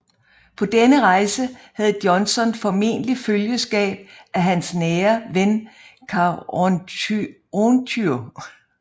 På denne rejse havde Johnson formentlig følgeskab af hans nære ven Karonghyontye